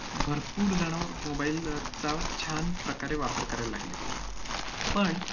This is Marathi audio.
भरपूर जण mobile चा छान प्रकारे वापर करायला लागले. पण,